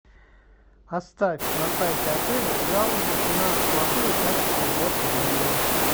оставь на сайте отеля жалобу на плохое качество уборки в номере